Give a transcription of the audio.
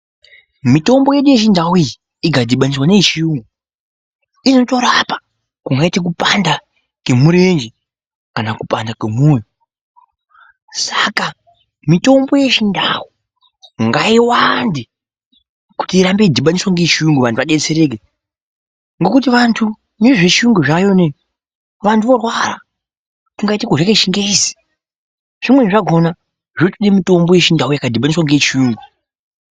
Mitombo yedu yechindau iyi ikadhibaniswaa neyechiyungu inotorapa, kungaite kupanda kwemurenje, kana kupanda kwemoyo, saka mitombo yechindau ngaiwande kuti irambe yeidhibaniswa ngeyechiyungu vantu vadetsereke ngokuti vantu nezvechiuyungu zvavayo zvinezvi, vantu vorwara. Kungaite kurya kwechingezi. Zvimweni zvakona zvotode mitombo yechindau yakadhibaniswaa ngeyechiyungu.